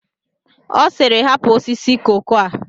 Ọ sịịrị, hapụ osisi koko a!